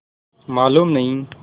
मालूम नहीं